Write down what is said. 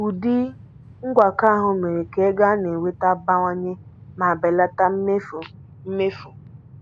Ụdị ngwakọ ahụ mere ka ego a na-enweta bawanye ma belata mmefu. mmefu.